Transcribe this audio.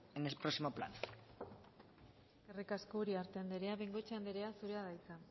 en el próximo plan eskerrik asko uriarte andrea bengoechea andrea zurea da hitza